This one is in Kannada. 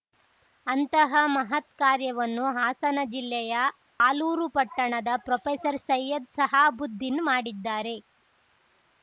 ಅಂತಹ ಮಹತ್‌ ಕಾರ್ಯವನ್ನು ಹಾಸನ ಜಿಲ್ಲೆಯ ಆಲೂರು ಪಟ್ಟಣದ ಪ್ರೊಫೆಸರ್ಸೈಯದ್‌ ಶಹಾಬುದ್ದೀನ್‌ ಮಾಡಿದ್ದಾರೆ